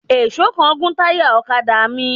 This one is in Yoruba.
Èèsó kan gún táyà ọ̀kadà mi